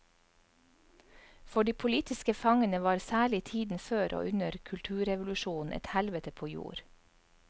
For de politiske fangene var særlig tiden før og under kulturrevolusjonen et helvete på jord.